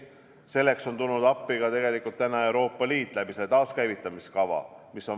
Selleks on tulnud appi ka tegelikult Euroopa Liit taaskäivitamiskavaga.